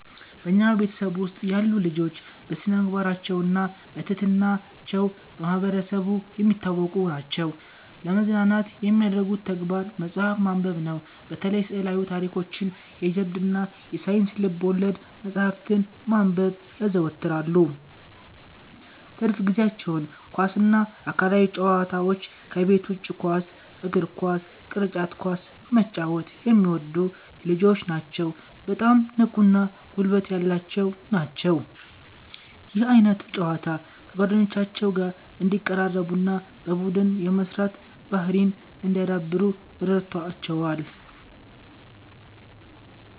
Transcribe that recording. በኛ ቤተሰብ ውስጥ ያሉ ልጆች በስነምግባራቸውና በትህትና ቸው በማህበረሰቡ የሚታወቁ ናቸዉ። ለመዝናናት የሚያደርጉት ተግባር መጽሐፍ ማንበብነው። በተለይ ስዕላዊ ታሪኮችን፣ የጀብዱ እና የሳይንስ ልብወለድ መጽሐፍትን ማንበብ ያዘወትራሉ። ትርፍ ጊዜአቸውንም ኳስ እና አካላዊ ጨዋታዎች ከቤት ውጭ ኳስ (እግር ኳስ፣ ቅርጫት ኳስ) መጫወት የሚወዱ ልጆች ናቸዉ በጣም ንቁ እና ጉልበት ያላቸው ናቸው። ይህ ዓይነቱ ጨዋታ ከጓደኞቻቸው ጋር እንዲቀራረቡና በቡድን የመስራት ባህርይን እንዲያዳብሩ ረድቶቸዋል።